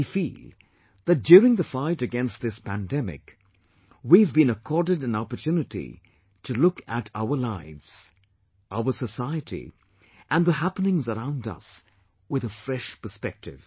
We feel that during the fight against this pandemic, we have been accorded an opportunity to look at our lives, our society and the happenings around us, with a fresh perspective